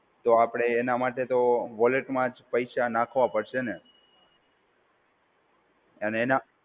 તો આપડે એના માટે તો વોલેટમાં જ પૈસા નાખવા પડશે ને? અને એનાં